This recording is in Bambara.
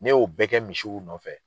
Ne y'o bɛɛ kɛ misiw nɔfɛ